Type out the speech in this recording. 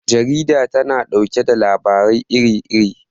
Jarida tana ɗauke da labarai iri iri.